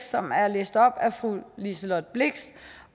som er læst op af fru liselott blixt